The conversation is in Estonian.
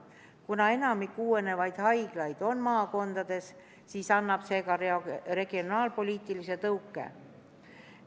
Kuna enamik uuenevaid haiglaid on maakondades, siis annab see ka regionaalpoliitilise tõuke.